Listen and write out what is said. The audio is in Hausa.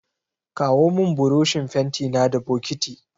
Kawo min burushin fentina da bokiti.